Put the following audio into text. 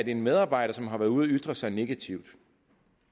en medarbejder som har været ude og ytre sig negativt